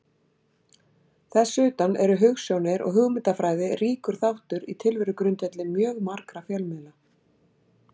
Þess utan eru hugsjónir og hugmyndafræði ríkur þáttur í tilverugrundvelli mjög margra fjölmiðla.